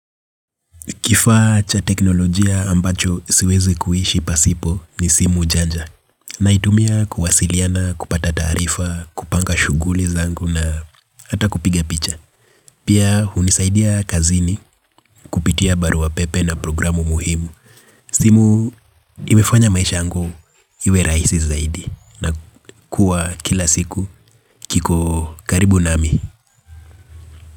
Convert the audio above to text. Kifaa cha teknolojia ambacho siwezi kuishi pasipo ni Simu Janja. Naitumia kuwasiliana, kupata taarifa, kupanga shughuli zangu na hata kupiga picha. Pia hunisaidia kazini kupitia barua pepe na programu muhimu. Simu imefanya maisha yangu iwe rahisi zaidi na kuwa kila siku kiko karibu nami.